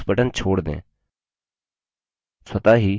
mouse button छोड़ दें